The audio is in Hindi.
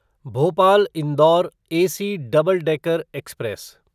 Bhopal Indore AC double decker express